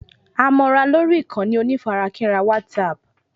A mọ ra lórí ìkànnì onífarakínra WhatsApp